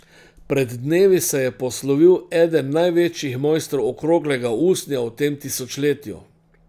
Pred dnevi se je poslovil eden največjih mojstrov okroglega usnja v tem tisočletju.